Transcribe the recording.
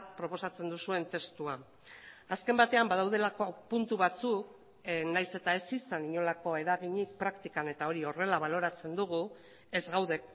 proposatzen duzuen testua azken batean badaudelako puntu batzuk nahiz eta ez izan inolako eraginik praktikan eta hori horrela baloratzen dugu ez gaude